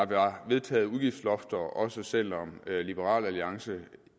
være vedtaget udgiftslofter også selv om liberal alliance